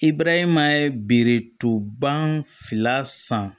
I barahima ye biritɔn ba fila san